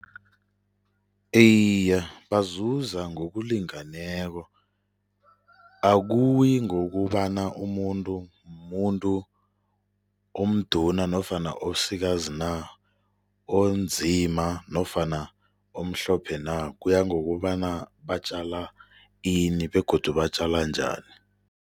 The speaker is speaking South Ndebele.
Iye, bazuza ngokulingeneko. Akuyi ngokobana umuntu mumuntu moduna nofana omsikazi na, onzima nofana omhlophe na, kuya ngokuthi batjala ini begodu batjala njani.